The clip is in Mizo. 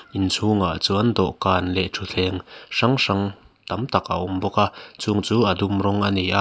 inchhung ah chuan dawhkan leh thuthleng hrang hrang tam tak a awm bawk a chung chu a dum rawng ani a.